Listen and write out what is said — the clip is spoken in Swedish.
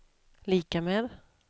lika med